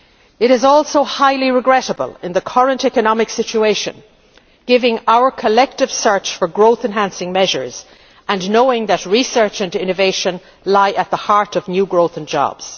It is also highly regrettable in the current economic situation, given our collective search for growth enhancing measures and knowing that research and innovation are crucial to new growth and